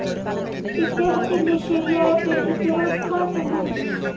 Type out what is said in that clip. ഇദ്ദേഹത്തിന്റെ ശരിയായ പേര് ഫിറോസ്ഖാൻ എന്നായിരുന്നു.